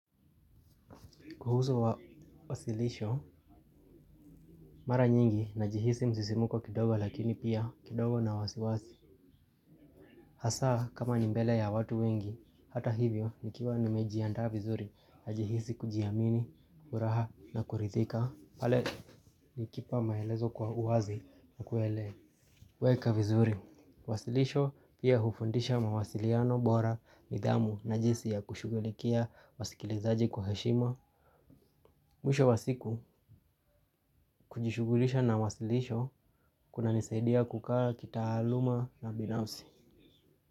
Kuhusu wa wasilisho, mara nyingi na jihisi msisimuko kidogo lakini pia kidogo na wasiwasi. Hasa kama nimbele ya watu wengi, hata hivyo ni kiwa nimejiandaha vizuri na jihisi kujiamini, furaha na kurithika. Pale ni kipa maelezo kwa uwazi na kuele. Weka vizuri, wasilisho pia hufundisha mawasiliano bora nidhamu na jisi ya kushugulikia wasikilizaji kwa heshima. Mwisho wa siku kujishugulisha na wasilisho kuna nisaidia kukaa kitaaluma na binafsi.